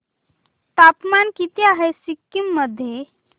तापमान किती आहे सिक्किम मध्ये